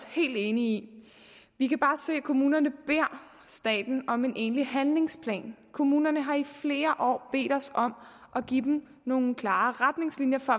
helt enige i vi kan se at kommunerne beder staten om en egentlig handlingsplan kommunerne har i flere år bedt os om at give dem nogle klare retningslinjer for